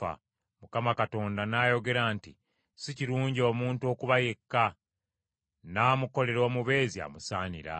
Mukama Katonda n’ayogera nti, “Si kirungi omuntu okuba yekka, nnaamukolera omubeezi amusaanira.”